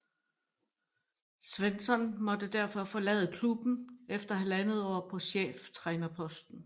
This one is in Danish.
Svensson måtte derfor forlade klubben efter halvandet år på cheftrænerposten